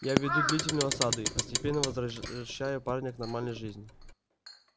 я веду длительную осаду и постепенно возвращаю парня к нормальной жизни